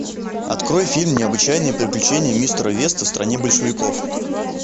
открой фильм необычайные приключения мистера веста в стране большевиков